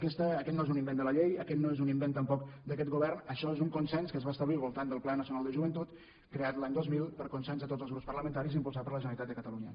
aquest no és un invent de la llei aquest no és un invent tampoc d’aquest govern això és un consens que es va establir al voltant del pla nacional de joventut creat l’any dos mil per consens de tots els grups parlamentaris i impulsat per la generalitat de catalunya